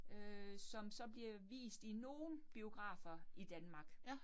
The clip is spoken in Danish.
Øh som så bliver vist i nogle biografer i Danmark